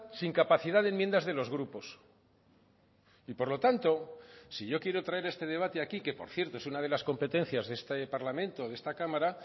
sin capacidad de enmiendas de los grupos y por lo tanto si yo quiero traer este debate aquí que por cierto es una de las competencias de este parlamento o de esta cámara